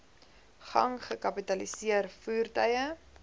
gang gekapitaliseer voertuie